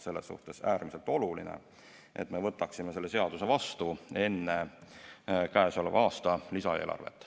Selles suhtes on äärmiselt oluline, et me võtaksime selle seaduse vastu enne käesoleva aasta lisaeelarvet.